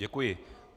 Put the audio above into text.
Děkuji.